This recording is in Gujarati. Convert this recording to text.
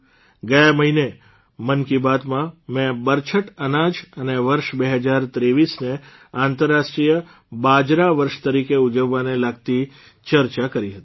ગયા મહિને મન કી બાતમાં મે બરછટ અનાજ અને વર્ષ ૨૦૨૩ને આંતરરાષ્ટ્રીય બાજરા વર્ષ તરીકે ઉજવવાને લગતી ચર્ચા કરી હતી